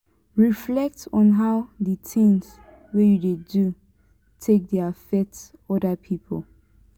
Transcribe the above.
reflect on how di things wey you dey do take dey affect oda pipo